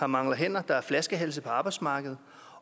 mangler hænder der er flaskehalse på arbejdsmarkedet